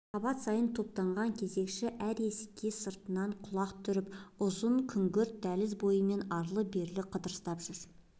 қабат сайын топтанған кезекші әр есікке сыртынан құлақ түріп ұзын күңгірт дәліз бойымен арлы-берлі қыдырыстап жүр